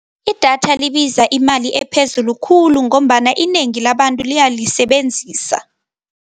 Idatha libiza imali ephezulu khulu ngombana inengi labantu liyalisebenzisa.